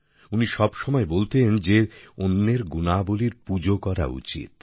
উনি সবসময় বলতেন যে অন্যের গুণাবলীর পূজো করা উচিত